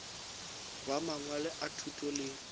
ba mangwalo a thuto le